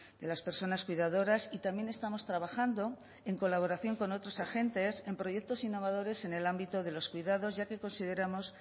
de las personas cuidadoras y también estamos trabajando en colaboración con otros agentes en proyectos innovadores en el ámbito de los cuidados ya que consideramos